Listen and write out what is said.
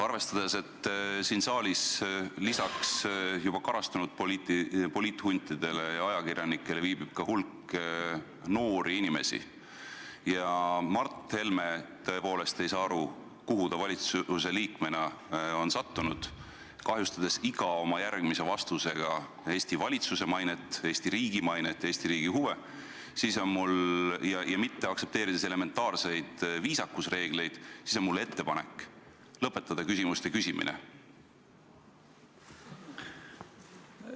Arvestades, et siin saalis viibib lisaks juba karastunud poliithuntidele ja ajakirjanikele ka hulk noori inimesi ja Mart Helme tõepoolest ei saa aru, kuhu ta valitsuse liikmena on sattunud, kahjustades iga oma järgmise vastusega Eesti valitsuse mainet, Eesti riigi mainet ja Eesti riigi huve ning mitte aktsepteerides elementaarseid viisakusreegleid, siis on mul ettepanek küsimuste küsimine lõpetada.